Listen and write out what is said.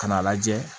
Ka n'a lajɛ